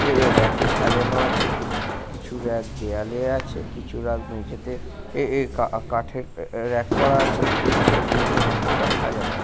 এ রেকে সাজানো আছে । কিছু রেক দেয়ালে আছে কিছু রেক মেঝেতে এ কাঠের রেক করা আছে তাতে বিভিন্ন ধরণের প্রোডাক্ট সাজানো আছে।